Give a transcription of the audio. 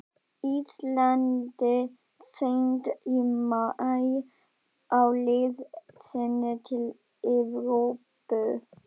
Íslandi seint í maí á leið sinni til Evrópu.